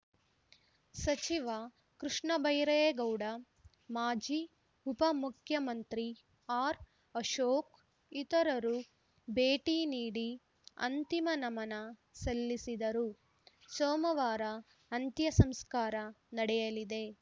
ಸಚಿವ ಕೃಷ್ಣಬೈರೇಗೌಡ ಮಾಜಿ ಉಪ ಮುಖ್ಯಮಂತ್ರಿ ಆರ್‌ಅಶೋಕ್‌ ಇತರರು ಭೇಟಿ ನೀಡಿ ಅಂತಿಮ ನಮನ ಸಲ್ಲಿಸಿದರು ಸೋಮವಾರ ಅಂತ್ಯಸಂಸ್ಕಾರ ನಡೆಯಲಿದೆ